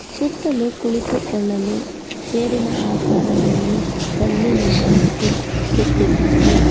ಸುತ್ತಲೂ ಕುಳಿತುಕೊಳ್ಳಲು ಚೇರಿನ ಆಕಾರದಲ್ಲಿ ಕಲ್ಲಿನಿಂದ ಇಟ್ ಕೆತ್ತಿದ್ದಾರೆ.